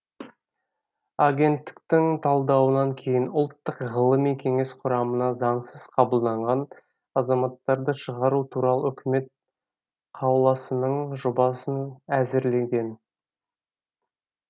агенттіктің талдауынан кейін ұлттық ғылыми кеңес құрамына заңсыз қабылданған азаматтарды шығару туралы үкімет қаулысының жобасын әзірленген